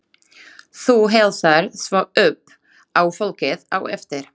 Þú heilsar svo upp á fólkið á eftir.